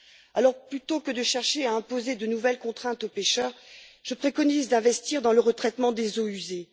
Alors, plutôt que de chercher à imposer de nouvelles contraintes aux pêcheurs, je préconise d'investir dans le retraitement des eaux usées.